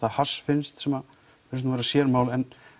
að hass finnst sem virðist vera sérmál